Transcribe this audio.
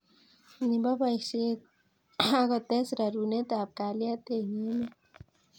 Nebo boisiet akotes rerunetab kalyet eng emet